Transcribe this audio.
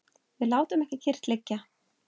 Við látum ekki kyrrt liggja.